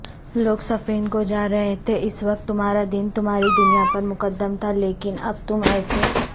لوگ صفین کوجارہے تھے اس وقت تمہارادین تمہاری دنیاپرمقدم تھا لیکن اب تم ایسے